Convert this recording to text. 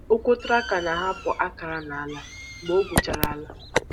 Ụkwụ traktọ na-ahapụ akara n’ala mgbe ọ gwuchara ala.